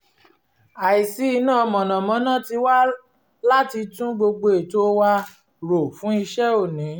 àìsí iná mọ̀nàmọ́ná tì wá láti tún gbogbo ètò wa rò fún iṣẹ́ òní